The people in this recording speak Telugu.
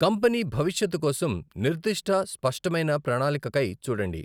కంపెనీ భవిష్యత్తు కోసం నిర్దిష్ట, స్పష్టమైన ప్రణాళికకై చూడండి.